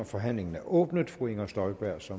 forhandlingen er åbnet fru inger støjberg som